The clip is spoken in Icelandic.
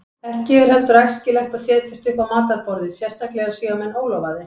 Ekki er heldur æskilegt að setjast upp á matarborðið, sérstaklega séu menn ólofaðir.